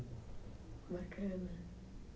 Bacana.